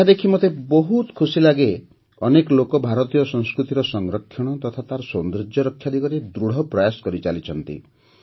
ଏହା ଦେଖି ମୋତେ ବହୁତ ଖୁସି ଲାଗେ ଅନେକ ଲୋକ ଭାରତୀୟ ସଂସ୍କୃତିର ସଂରକ୍ଷଣ ତଥା ତାର ସୌନ୍ଦର୍ଯ୍ୟ ରକ୍ଷା ଦିଗରେ ଦୃଢ଼ ପ୍ରୟାସ କରିଚାଲିଛନ୍ତି